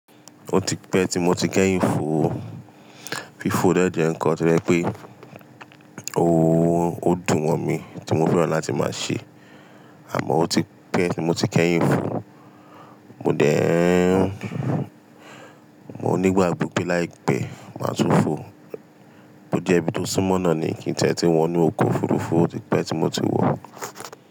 Ó ti pẹ́ tí mo ti kẹ́yìn fò ó. Fífò dè jẹ́ ǹkan tó jẹ́ pé, o ó dùn mọ̀ mí tí mo fẹ́ràn láti máa ṣe. Àmọ́ ó ti pẹ́ tí mo ti kẹ́yìn fò. Mo dẹ́, mo nígbàgbọ́ pé láì pẹ́, máa tún fò. Ó jẹ́ ibi tó súnmọ́ náà ni kí ń ti e tún wọ̀ inú oko òfurufú, ó ti pẹ́ tí mo ti wọ̀.